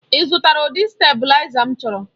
Ị zụtara ụdị stabụlaiza m chọrọ?